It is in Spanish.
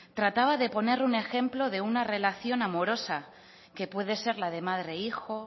trataba de poner un ejemplo de una relación amorosa que puede ser la de madre hijo